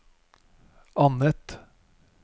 annet